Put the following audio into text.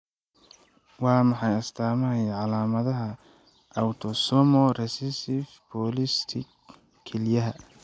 Waa maxay astamaha iyo calaamadaha Autosomal recessive polycystic kelyaha?